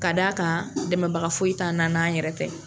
Ka d'a kan dɛmɛbaga foyi t'an na n'an yɛrɛ tɛ.